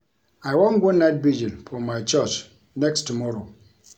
I wan go night vigil for my church next tomorrow